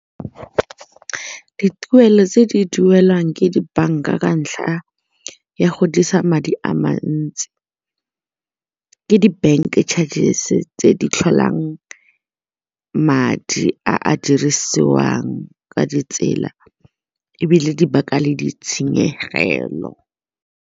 Dituelo tse di duelwang ke dibanka ka ntlha ya go dirisa madi a mantsi ke di-bank charges tse di tlholang madi a a dirisiwang ka ditsela ebile di baka le ditshenyegelo.